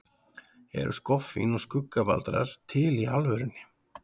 Eru skoffín og skuggabaldrar til í alvörunni?